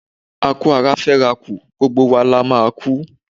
A kú ara fẹ́ rà kù, gbogbo wa la máa a kú.